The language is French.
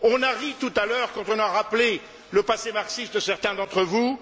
On a ri tout à l'heure quand on a rappelé le passé marxiste de certains d'entre vous.